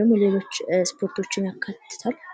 ደግሞ ሌሎች ስፖርቶችን ያካትታል።